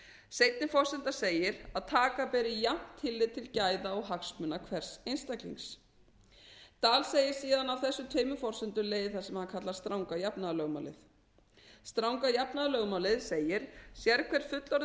seinni forsendan segir að taka beri jafnt tillit til gæða eða hagsmuna hvers einstaklings dahl segir síðan að af þessum tveimur forsendum leiði það sem hann kallar stranga jafnaðarlögmálið stranga jafnaðarlögmálið segir sérhver fullorðinn